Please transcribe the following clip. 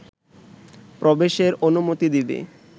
প্রবেশের অনুমতি দিবে